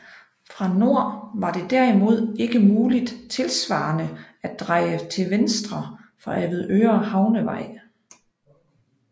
Fra nord var det derimod ikke muligt tilsvarende at dreje til venstre fra Avedøre Havnevej